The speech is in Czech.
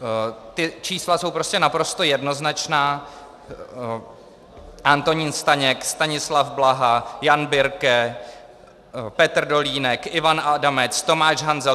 Ta čísla jsou prostě naprosto jednoznačná - Antonín Staněk, Stanislav Blaha, Jan Birke, Petr Dolínek, Ivan Adamec, Tomáš Hanzel.